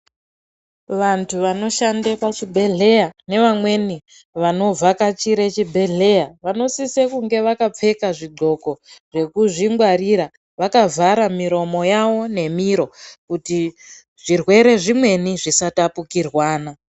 Vantu vanoshande pachibhelheya nevanovhakachira pachibhelheya vanosisa kunga vakapfeka zvidxoko zvekuzvingwarira vakavhara miromo yavo nemiro kuti zvirwere zvimweni zvisatapikirwana.